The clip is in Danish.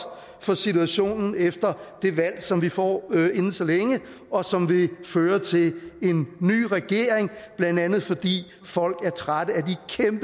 for situationen efter det valg som vi får inden så længe og som vil føre til en ny regering blandt andet fordi folk er trætte